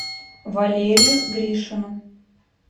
валерию гришину